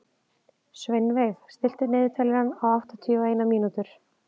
Sveinveig, stilltu niðurteljara á áttatíu og eina mínútur.